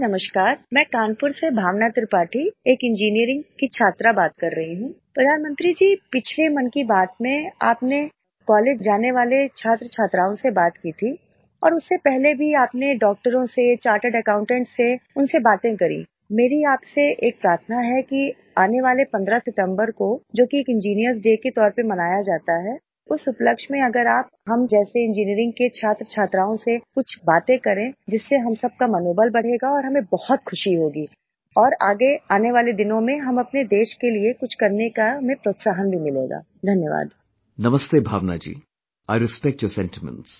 Namaste Bhawnaji, I respect your sentiments